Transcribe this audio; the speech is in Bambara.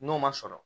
N'o ma sɔrɔ